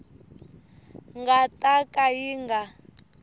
nga ta ka yi nga